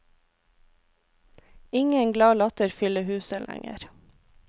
Ingen glad latter fyller huset lenger.